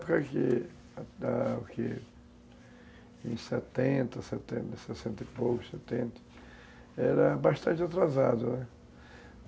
em setenta, setenta, sessenta e pouco, setenta, era bastante atrasado, né?